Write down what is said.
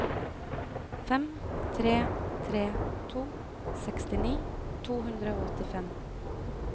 fem tre tre to sekstini to hundre og åttifem